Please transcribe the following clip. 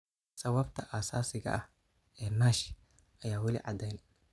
Sababta asaasiga ah ee NASH ayaan weli caddayn.